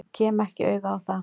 Ég kem ekki auga á það.